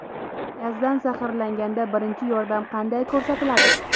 Gazdan zaharlanganda birinchi yordam qanday ko‘rsatiladi?